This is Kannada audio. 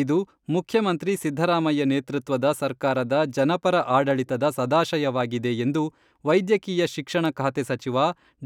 ಇದು ಮುಖ್ಯಮಂತ್ರಿ ಸಿದ್ಧರಾಮಯ್ಯ ನೇತೃತ್ವದ ಸರ್ಕಾರದ ಜನಪರ ಆಡಳಿತದ ಸದಾಶಯವಾಗಿದೆ ಎಂದು ವೈದ್ಯಕೀಯ ಶಿಕ್ಷಣ ಖಾತೆ ಸಚಿವ